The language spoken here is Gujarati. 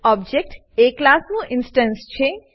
ઓબજેક્ટ એ ક્લાસનું એક ઇન્સટન્સ છે